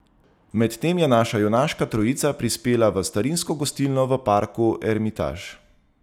Medtem je naša junaška trojica prispela v starinsko gostilno v parku Ermitaž.